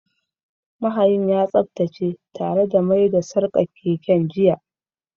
Mahayin ya tsaftace tare da mai da sarkar keken jiya